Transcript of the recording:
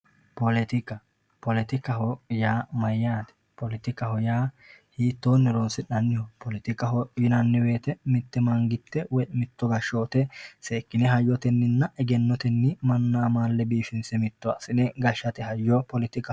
poletikka ,poletikaho yaa mayyate, poletikka yaa hiittoni horonsi'nanniho poletikaho yinanni woyte mite manigiste mito gashshote seekkine hayyoteninna egennoteni manna amaale irkinse amade gashshate hayyo poletika.